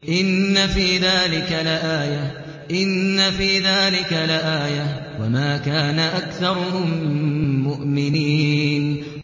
إِنَّ فِي ذَٰلِكَ لَآيَةً ۖ وَمَا كَانَ أَكْثَرُهُم مُّؤْمِنِينَ